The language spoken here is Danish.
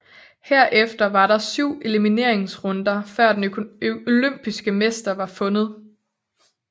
Herefter var der 7 elimineringsrunder før den olympiske mester var fundet